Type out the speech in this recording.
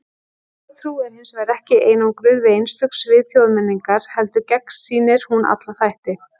Þjóðtrú er hins vegar ekki einangruð við einstök svið þjóðmenningar, heldur gegnsýrir hún alla þætti.